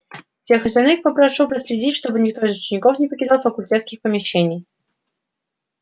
всех остальных попрошу проследить чтобы никто из учеников не покидал факультетских помещений